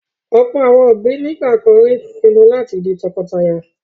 Ọ̀pọ̀ àwọn òbí nígbà kan rí pinnu láti di tọkọtaya.